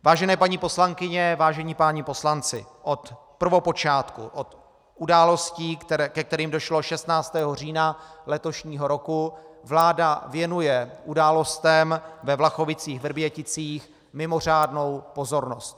Vážené paní poslankyně, vážení páni poslanci, od prvopočátku, od událostí, ke kterým došlo 16. října letošního roku, vláda věnuje událostem ve Vlachovicích-Vrběticích mimořádnou pozornost.